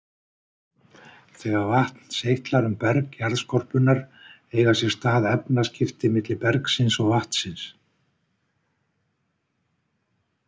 Þegar vatn seytlar um berg jarðskorpunnar eiga sér stað efnaskipti milli bergsins og vatnsins.